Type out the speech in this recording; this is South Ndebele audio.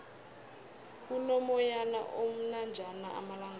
kuno moyana omnanjana amalangala